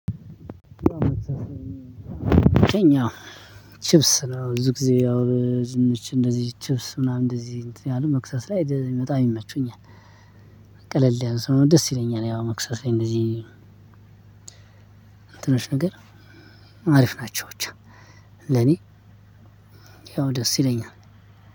እኛ ቺፕስ ነው ብዙ ጊዜ ያው ዝንች እንደዚህ ቺፕስ ምናምን እንደዚህ እያልን መክሰስ ላይ በጣም ይመቹኛል። ቀለል ያለ ሰለሆነ ደስ ይለኛል ያው መክሰስ ላይ እንደዚህ ትንሽ ነገር አሪፍ ናቸው። ብቻ ለኔ ያው ደስ ይለኛል።